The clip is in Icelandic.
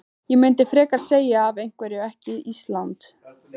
Ég myndi frekar segja af hverju ekki Ísland?